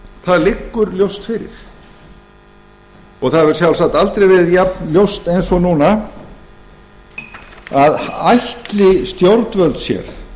það liggur ljóst fyrir það hefur sjálfsagt aldrei verið jafnljóst og núna að ætli stjórnvöld sér